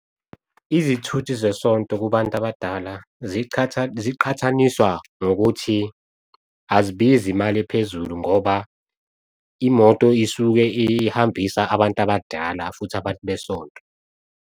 Izithuthi zesonto kubantu abadala ziqhathaniswa ngokuthi azibizi imali ephezulu ngoba, imoto isuke ihambisa abantu abadala futhi abantu besonto.